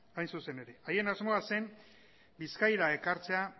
hain zuzen ere haien asmoa zen bizkaira ekartzea